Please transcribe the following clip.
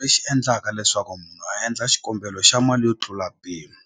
lexi endlaka leswaku munhu a endla xikombelo xa mali yo tlula mpimo